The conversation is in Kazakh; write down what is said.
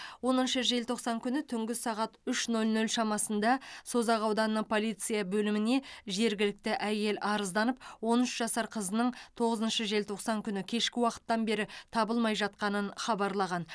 оныншы желтоқсан күні түнгі сағат үш нөл нөл шамасында созақ ауданының полиция бөліміне жергілікті әйел арызданып он үш жасар қызының тоғызыншы желтоқсан күні кешкі уақыттан бері табылмай жатқанын хабарлаған